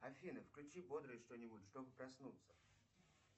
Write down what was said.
афина включи бодрое что нибудь чтобы проснуться